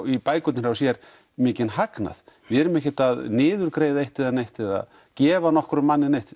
í bækurnar hjá sér mikinn hagnað við erum ekkert að niðurgreiða eitt né neitt eða gefa nokkrum manni neitt